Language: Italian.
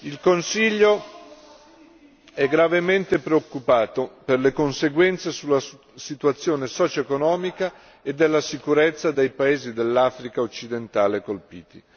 Il Consiglio è gravemente preoccupato per le conseguenze sulla situazione socioeconomica e della sicurezza dei paesi dell'Africa occidentale colpiti.